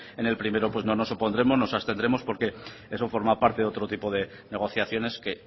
en el primero pues no nos opondremos nos abstendremos porque eso forma parte de otro tipo de negociaciones que